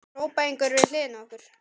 hrópa einhverjir við hliðina á okkur.